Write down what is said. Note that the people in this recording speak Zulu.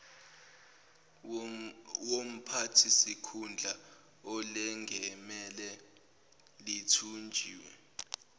womphathisikhundla olengamele lithunjiwe